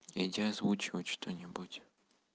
иди озвучивать что-нибудь